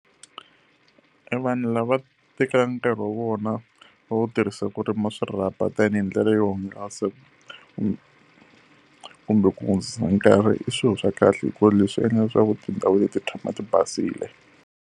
E vanhu lava tekanga nkarhi wa vona va wu tirhisa ku rima swirhapa tanihi ndlela yo hungasa kumbe ku hundzisa nkarhi i swilo swa kahle hikuva leswi endlaka leswaku tindhawu leti ti tshama ti basile.